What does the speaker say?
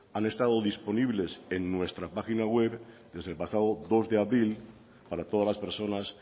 han estado disponibles en nuestra página web desde el pasado dos de abril para todas las personas